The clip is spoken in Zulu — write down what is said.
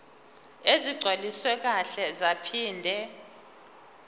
ezigcwaliswe kahle zaphinde